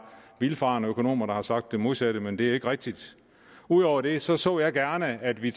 vildfarende økonomer der har sagt det modsatte men det er ikke rigtigt ud over det så så jeg gerne at vi